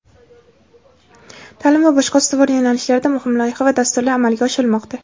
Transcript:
ta’lim va boshqa ustuvor yo‘nalishlarda muhim loyiha va dasturlar amalga oshirilmoqda.